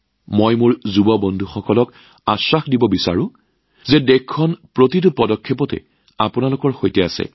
মই মোৰ যুৱ বন্ধুসকলক আশ্বস্ত কৰিব বিচাৰিছো যে দেশখন প্ৰতিটো খোজতে আপোনালোকৰ লগত আছে